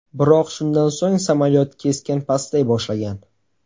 Biroq shundan so‘ng samolyot keskin pastlay boshlagan.